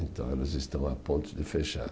Então eles estão a ponto de fechar.